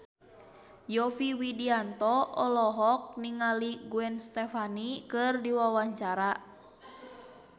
Yovie Widianto olohok ningali Gwen Stefani keur diwawancara